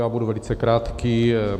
Já budu velice krátký.